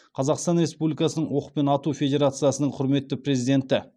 қазақстан республикасының оқпен ату федерациясының құрметті президенті